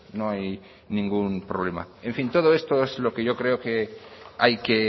no hay ningún problema en fin todo esto es lo que yo creo que hay que